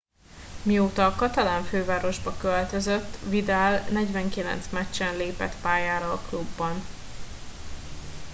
mióta a katalán fővárosba költözött vidal 49 meccsen lépett pályára a klubban